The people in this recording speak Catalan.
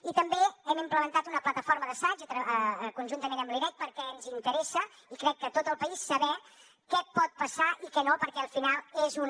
i també hem implementat una plataforma d’assaig conjuntament amb l’irec perquè ens interessa i crec que a tot el país saber què pot passar i què no perquè al final és una